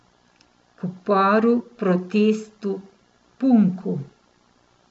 K uporu, protestu, punku.